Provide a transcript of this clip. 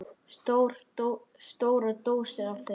Stórar dósir af þeim.